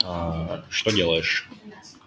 аа что делаешь